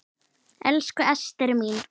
Elsku Ester mín.